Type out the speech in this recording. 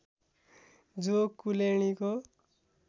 जो कुलेर्णीको